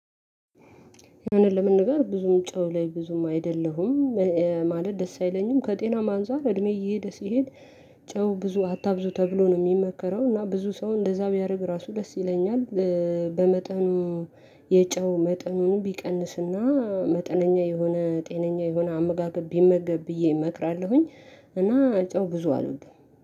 እዉነት ለመናገር ብዙም ጨው ላይ ብዙም አይደለሁም። ማለት ደስ አይለኝም ከጤናም አንፃር እድሜ እየሄደ ሲሄድ ጨው ብዙ አታብዙ ተብሎ ነው የሚመከረው እና ብዙ ሰው እንደዛ ቢያደርግ ራሱ ደስ ይለኛል። በመጠኑ የጨው መጠኑን ቢቀንስና መጠነኛ የሆነ ጤነኛ የሆነ አመጋገብ ቢመገብ ብዬ እመክራለሁኝ። እና ጨው ብዙ አልወድም